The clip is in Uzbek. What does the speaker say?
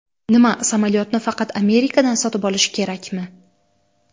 Nima, samolyotni faqat Amerikadan sotib olish kerakmi?